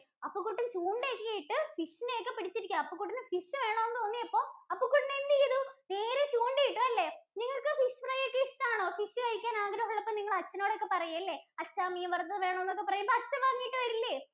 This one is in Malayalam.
അപ്പുകുട്ടന്‍ ചൂണ്ട ഒക്കെ ഇട്ട് fish ഇനെ ഒക്കെ പിടിച്ചിരിക്കുവാ. അപ്പുകുട്ടന് fish വേണംന്ന് തോന്നിയപ്പോ അപ്പുകുട്ടന്‍ എന്ത് ചെയ്തു? നേരെ ചൂണ്ട ഇട്ടു. അല്ലേ? നിങ്ങൾക്ക് fish fry ഒക്കെ ഇഷ്ട്ടാണോ? fish കഴിക്കാൻ ആഗ്രഹം ഉള്ളപ്പോ നിങ്ങൾ അച്ഛനോട് ഒക്കെ പറയും അല്ലേ? അച്ഛാ മീന്‍ വറുത്തത് വേണം എന്നൊക്കെ പറയുമ്പോ അച്ഛൻ വാങ്ങീട്ട് വരില്ലേ?